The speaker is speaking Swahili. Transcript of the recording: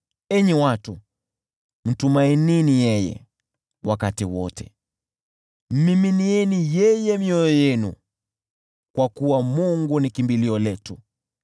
Enyi watu, mtumainini yeye wakati wote, miminieni mioyo yenu kwake, kwa kuwa Mungu ni kimbilio letu.